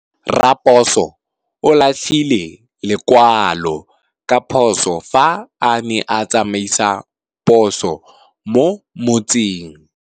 Raposo o latlhie lekwalô ka phosô fa a ne a tsamaisa poso mo motseng.